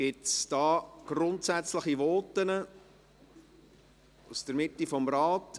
Gibt es grundsätzliche Voten aus der Mitte des Rates?